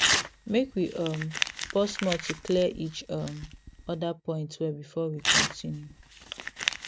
make we um pause small to clear each um other point well before we continue